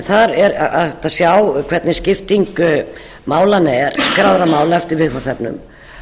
þar er hægt að sjá hvernig skipting málanna er skráðra mála eftir viðfangsefnum